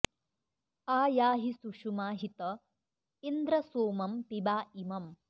आ या॑हि सुषु॒मा हि त॒ इन्द्र॒ सोमं॒ पिबा॑ इ॒मम्